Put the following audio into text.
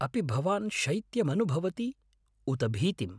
अपि भवान् शैत्यमनुभवति उत भीतिम्?